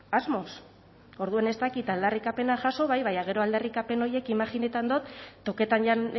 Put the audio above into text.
asmoz orduan ez dakit aldarrikapenak jaso bai baina gero aldarrikapen horiek imajinaten dot toketan jan